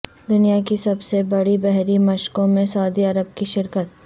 دنیا کی سب سے بڑی بحری مشقوں میں سعودی عرب کی شرکت